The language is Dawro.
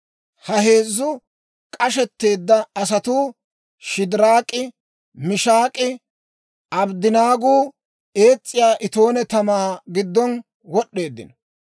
Ha heezzu k'ashetteedda asatuu, Shidiraak'i, Mishaak'inne Abddanaaguu, ees's'iyaa itoone tamaa giddo wod'd'eeddino.